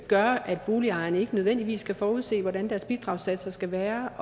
gør at boligejerne ikke nødvendigvis kan forudse hvordan deres bidragssatser skal være